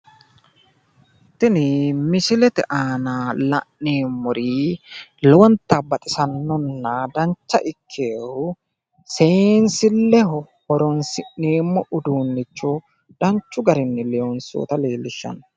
Tini misilete aana la'neemmori lowonta baxisannonna dancha ikkinohu seensilleho horoonsi'neemmo uduunnicho danchu garinni loonsoonnita leellishshanno.